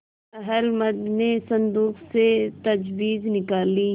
अहलमद ने संदूक से तजबीज निकाली